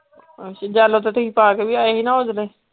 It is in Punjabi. ਆਹੋ ਤੇ yellow ਤੇ ਤੁਸੀਂ ਪਾ ਕੇ ਵੀ ਆਏ ਸੀ ਨਾ ਓਦਣ।